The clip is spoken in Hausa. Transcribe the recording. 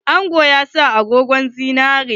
Angon ya sa agogon zinari.